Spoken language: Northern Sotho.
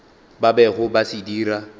ba bego ba se dira